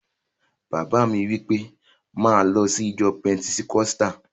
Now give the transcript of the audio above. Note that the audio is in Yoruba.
Bàbá mi wí pé, 'máa lọ sí ìjọ pẹtikọ́sítà!